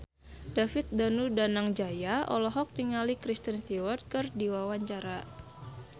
David Danu Danangjaya olohok ningali Kristen Stewart keur diwawancara